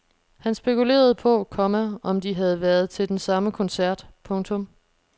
Han spekulerede på, komma om de havde været til den samme koncert. punktum